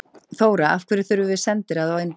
Þóra: En af hverju þurfum við sendiráð í Indlandi?